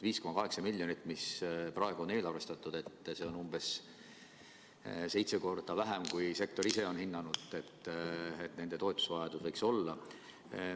5,8 miljonit, mis praegu on eelarvestatud, on umbes seitse korda vähem, kui sektor ise on hinnanud, et nende toetusevajadus võiks olla.